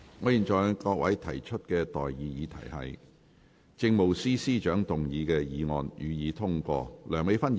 我現在向各位提出的待議議題是：政務司司長動議的議案，予以通過。